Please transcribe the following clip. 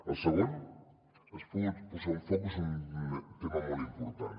el segon és posar un focus en un tema molt important